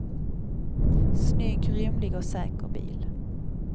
Snygg, rymlig och säker bil.